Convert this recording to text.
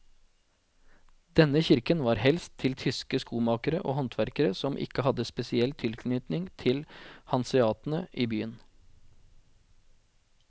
Denne kirken var helst til tyske skomakere og håndverkere som ikke hadde spesiell tilknytning til hanseatene i byen.